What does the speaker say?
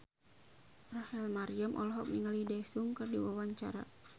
Rachel Maryam olohok ningali Daesung keur diwawancara